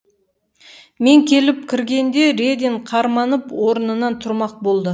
мен келіп кіргенде редин қарманып орнынан тұрмақ болды